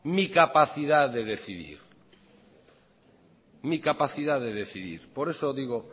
mi capacidad de decidir por eso digo